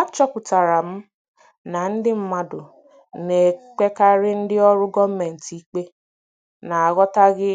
Achọpụtara m na ndị mmadụ na-ekpekarị ndị ọrụ gọọmentị ikpe n'aghọtaghị